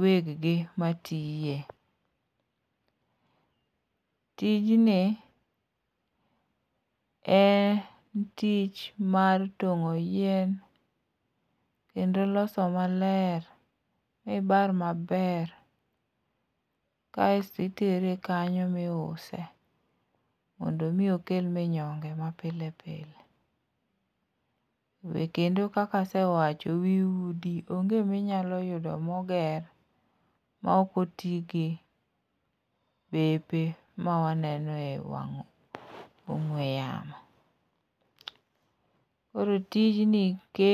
weggi matiye. Tijni en tich mar tong'o yien ,kendo loso maler mibar maber kaes titere kanyo miuse, mondo omi okel minyonge mapile pile, be kendo kaka asewacho, wi udi onge minyalo yudo moger, ma ok otigi bepe mawaneno e wang' ong'we yamo. Koro tijni kelo